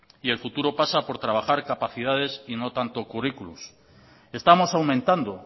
y el futuro pasa por trabajar capacidades y no tanto curriculums estamos aumentando